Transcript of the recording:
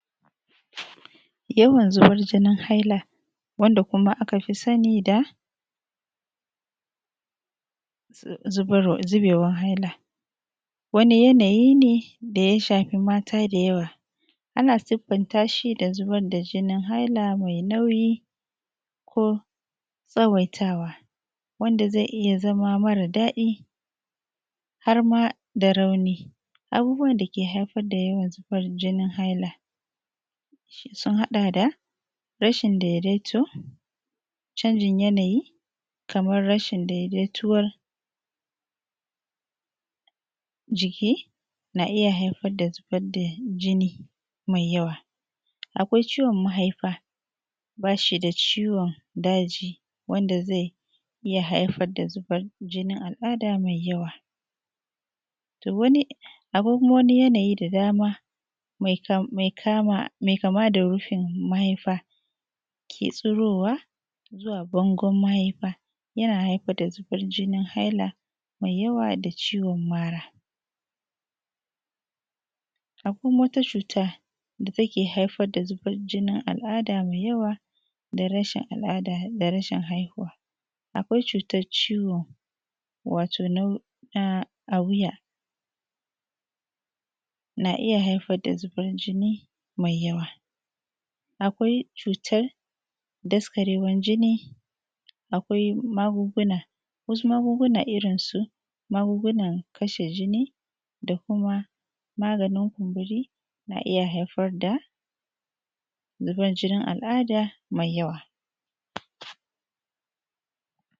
Yawan zubar jinin haila wanda kuma aka fi sani da zubarwa zubeewar haila, wani yanayi ne da ya shafi maata da yawa, ana siffanta shi da zubar da jinin hailaa mai nauyi ko tsawaitawa, wanda zai iya zama mara daɗi har ma da rauni, abubuwan da ke haifar da yawan zubar jinin haila sun haɗa da: Rashin daidaito, canjin yanayi, kamar rashin daidaituwar jiki na iya haifar da zubar da jini mai yawa, akwai ciwon mahaifa baa shi da ciwon daji wanda zai iya haifar da zubar jinin al'aada mai yawa, to wani, akwai kuma wani yanayi da dama mai kaama, mai kama da rufin mahaifa ke tsuroowa zuwa bangon mahaifa yana haifar da zubar jinin haila mai yawa da ciwon mara. Akwai wata cuta da take haifar da zubar jinin al'aada mai yawa da rashin al'aada da rashin haihuwa, akwai cuutar ciwon, wato nau na wuya na iya haifar da zuban jini mai yawa. Akwai cuutar daskareewar jini, akwai magunguna wasu magunguna irinsu magungunan kashe jini da kuma maganin kumburi na iya haifar da zuban jinin al'aada mai yawa.